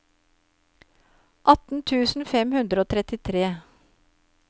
atten tusen fem hundre og trettitre